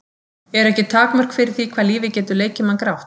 Eru ekki takmörk fyrir því hvað lífið getur leikið mann grátt?